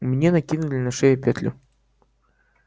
мне накинули на шею петлю